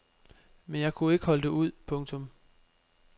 Men jeg kunne ikke holde det ud. punktum